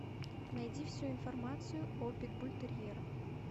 найди всю информацию о питбультерьерах